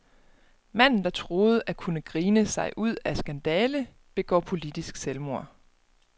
Manden, der troede at kunne grine sig ud af skandale, begår politisk selvmord.